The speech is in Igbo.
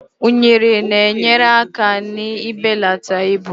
unere na-enyere aka n'ibelata ibu